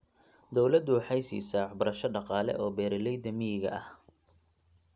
Dawladdu waxay siisaa waxbarasho dhaqaale oo beeralayda miyiga ah.